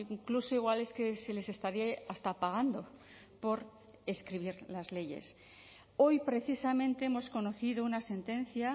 incluso igual es que se les estaría hasta pagando por escribir las leyes hoy precisamente hemos conocido una sentencia